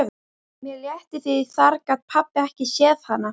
Mér létti því þar gat pabbi ekki séð hana.